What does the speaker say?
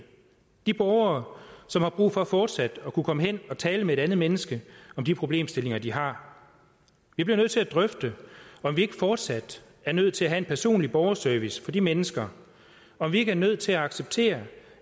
de borgere som har brug for fortsat at kunne komme hen og tale med et andet menneske om de problemstillinger de har vi bliver nødt til at drøfte om vi ikke fortsat er nødt til at have en personlig borgerservice for de mennesker om vi ikke er nødt til at acceptere